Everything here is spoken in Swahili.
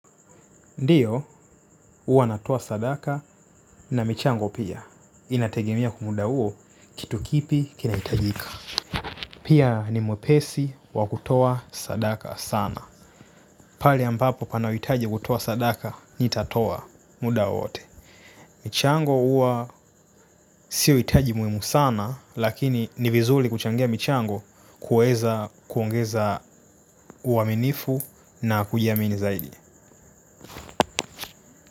Ndio huwa natoa sadaka na michango pia. Inategemea kwa muda uo kitu kipi kinaitajika. Pia ni mwepesi wa kutoa sadaka sana. Pali ambapo pana uitaji kutoa sadaka nitatoa muda wote. Michango huwa sio hitaji muhimu sana lakini ni vizuli kuchangia michango kuweza kuongeza, uaminifu na kujiamini zaidi.